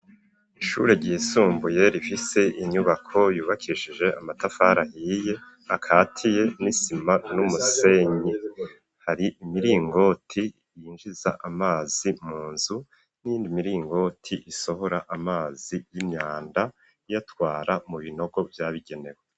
Ishure ryisumbuye rifise inyubako yubakishije amatafari ahiye akatiye n'isima n'umusenyi. Hari imiringoti yinjiza amazi mu nzu, n'iyindi miringoti isohora amazi y'imyanda iyatwara mu binogo vyabigenewe.